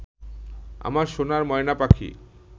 আমার সোনার ময়না পাখি